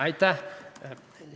Aitäh!